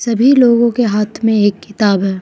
सभी लोगों के हाथ में एक किताब है।